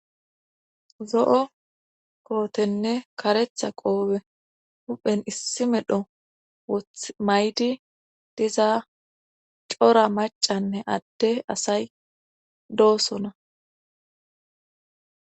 zo'o kootenne karetha qoope huphen issi medho woth mayidi diza cora macanne adde asay doosona